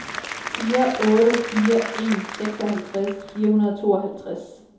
fire otte fire en seksoghalvtreds fire hundrede og tooghalvtreds